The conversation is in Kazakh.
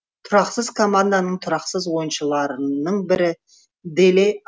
тұрақсыз команданың тұрақсыз ойыншыларының бірі деле